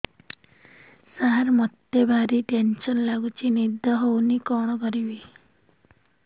ସାର ମତେ ଭାରି ଟେନ୍ସନ୍ ଲାଗୁଚି ନିଦ ହଉନି କଣ କରିବି